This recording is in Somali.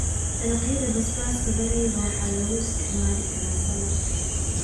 Dalagyada basbaaska darayga waxaa loo isticmaali karaa saladhka.